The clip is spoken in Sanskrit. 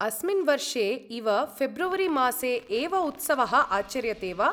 अस्मिन् वर्षे इव फ़ेब्रुवरीमासे एव उत्सवः आचर्यते वा?